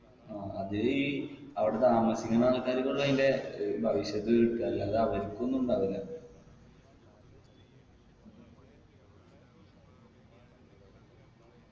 ആ അത് ഈ അവിട താമസിക്കുന്ന ആൾക്കാരിക്ക്ള്ളു അയിന്റെ ഏർ ഭവിഷ്യത്ത് കിട്ടാ അല്ലാതെ അവരിക്ക് ഒന്നുണ്ടാവുല്ല